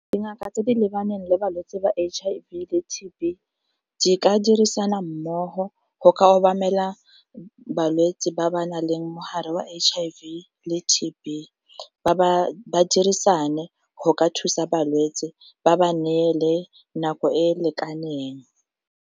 Dingaka tse di lebaneng le balwetse ba H_I_V le T_B di ka dirisana mmogo go ka obamela balwetsi ba ba nang le mogare wa H_I_V le T_B, ba dirisane go ka thusa balwetsi ba ba neele nako e lekaneng.